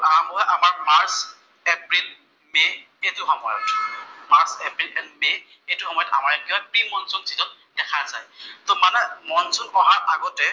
সেইটো আমাৰ March, April and May, এইটো সময়ত আমাৰ ইয়াত প্ৰি মনচুন চিজন দেখা যায়। মানে মনচুন অহা আগতে